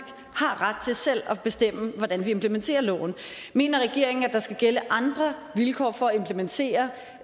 har ret til selv at bestemme hvordan vi implementerer loven mener regeringen at der skal gælde andre vilkår for at implementere